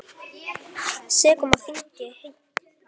Sekum á þingi hegning veitt.